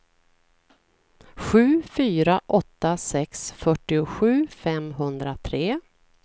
sju fyra åtta sex fyrtiosju femhundratre